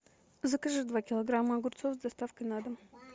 закажи два килограмма огурцов с доставкой на дом